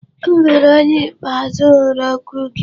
M bụrụ onye ikpeazụ hụrụ okwu gị.